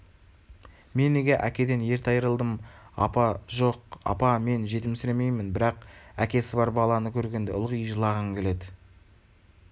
мен неге әкеден ерте айрылдым апа жоқ апа мен жетімсіремеймін бірақ әкесі бар баланы көргенде ылғи жылағым келеді